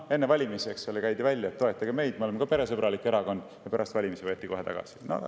Enne valimisi käidi välja, et toetage meid, me oleme ka peresõbralik erakond, pärast valimisi võeti kohe tagasi.